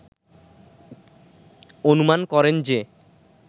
অনুমান করেন যে